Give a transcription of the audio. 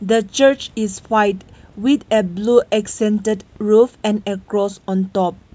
the church is white with a blue accented roof and a across on top.